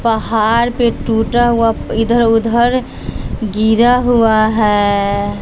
पहाड़ पे टूटा हुआ इधर उधर गिरा हुआ है।